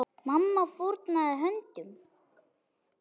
Mamma fórnaði höndum.